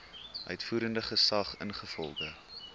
uitvoerende gesag ingevolge